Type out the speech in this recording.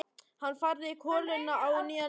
Hann færði koluna á nýjan leik niður í bekkinn.